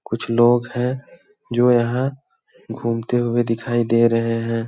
कुछ लोग हैं जो यहां घूमते हुए दिखाई दे रहे हैं।